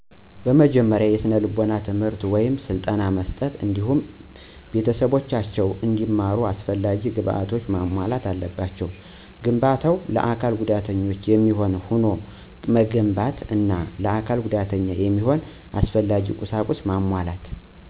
በመጀመሪያ የስነልቦና ትምህርት ወይም ስልጠና መስጠት እንዲሁም ቤተሰቦቻቸው እንዲመሩ አሰፈላጊ ግብዓቶችን መሞላት አለባቸው። ግንባታው ለአካል ጉዳተኞች የሚሆን ሁኖ መገንባት አና ለአካል ጉዳተኛ የሚሆን አስፈላጊ ቁሳቁስ መሟላት